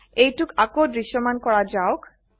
এইটোক আকৌ দৃশ্যমান কৰা যাওক